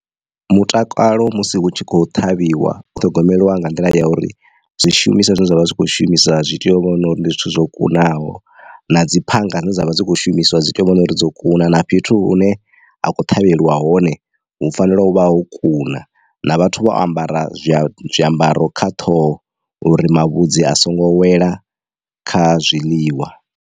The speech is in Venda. Mutakalo musi hu tshi kho ṱhavhiwa u ṱhogomeliwa nga nḓila ya uri zwishumiswa zwine zwavha zwi kho shumiswa zwi tea u vhono uri ndi zwithu zwo kunaho na dzi phanga dzine dzavha dzi kho shumiswa dzi tea u vhono uri dzo kuna naa fhethu hune ha khou ṱhavheliwa hone hu fanela u vha ho kuna na vhathu vho ambara zwiambaro kha ṱhoho uri mavhudzi a songo wela kha zwiḽiwa.